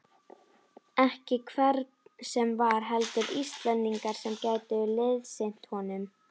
Ekki hvern sem var, heldur Íslendinga sem gætu liðsinnt honum.